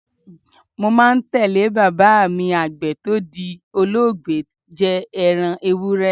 Mo máa ń tẹ̀ lé bàbá mi Àgbẹ̀ tó ti di olóògbé jẹ ẹran Ewúré.